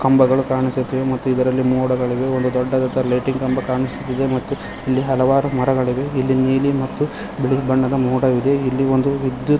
ಕಂಬಗಳು ಕಾಣುಸುತ್ತಿವೆ ಮತ್ತು ಇದರಲ್ಲಿ ಮೊಡಗಳಿವೆ ಒಂದು ದೊಡ್ಡದಂತ ಲೈಟಿನ ಕಂಬ ಕಾಣಿಸುತ್ತಿದೆ ಮತ್ತು ಇಲ್ಲಿ ಹಲವಾರು ಮರಗಳಿವೆ ಇಲ್ಲಿ ನೀಲಿ ಮತ್ತು ಬಿಳಿ ಬಣ್ಣದ ಮೊಡ ಇದೆ ಇಲ್ಲಿ ಒಂದು ವಿದ್ಯುತ್--